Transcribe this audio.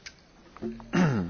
Pani Przewodnicząca!